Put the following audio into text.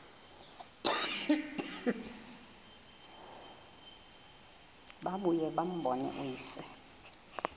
babuye bambone uyise